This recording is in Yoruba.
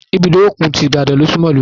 Ibùdó òkun ti Ibadan ni ó súnmọ́ ìlúu wa.